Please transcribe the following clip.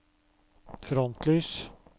frontlys